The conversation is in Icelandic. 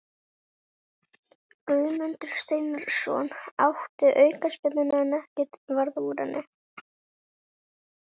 Guðmundur Steinarsson átti aukaspyrnuna en ekkert varð úr henni.